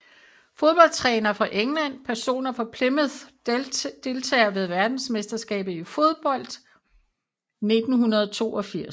Fodboldtrænere fra England Personer fra Plymouth Deltagere ved verdensmesterskabet i fodbold 1982